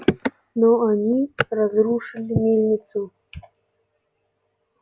но они разрушили мельницу